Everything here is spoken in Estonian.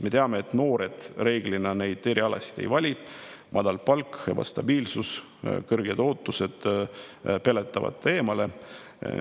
Me teame, et noored reeglina neid erialasid ei vali, sest madal palk, ebastabiilsus ja kõrged ootused peletavad neid eemale.